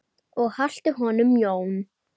Og haltu honum Jón.